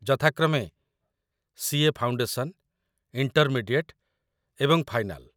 ଯଥାକ୍ରମେ CA. Foundation, intermediate, ଏବଂ final